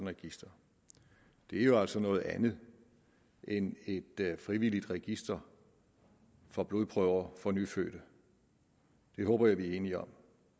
register det er jo altså noget andet end et frivilligt register for blodprøver fra nyfødte det håber jeg vi er enige om